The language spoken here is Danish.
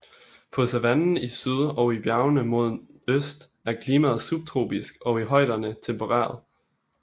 På savannen i syd og i bjergene mod øst er klimaet subtropisk og i højderne tempereret